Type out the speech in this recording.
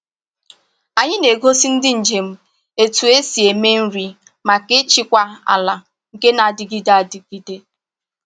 Anyị na-egosi ndị njem otú esi eme nri maka ịchịkwa ala nke na-adịgide adịgide.